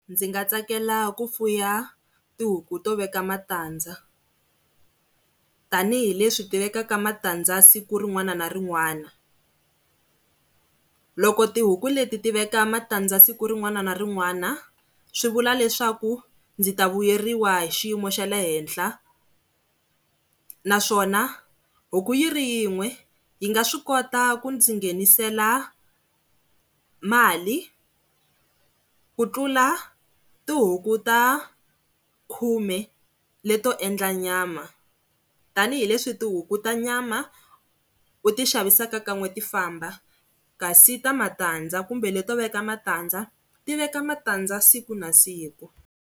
Ndzi nga tsakela ku fuya tihuku to veka matandza tanihileswi ti vekaka matandza siku rin'wana na rin'wana, loko tihuku leti ti veka matandza siku rin'wana na rin'wana, swivula leswaku ndzi ta vuyeriwa hi xiyimo xa le henhla naswona huku yi ri yin'we yi nga swi kota ku ndzi nghenisela mali ku tlula tihuku ta khume leto endla nyama tanihileswi tihuku ta nyama u ti xavisaka ka nw'e ti famba kasi ta matandza kumbe leto veka matandza ti veka matandza siku na siku.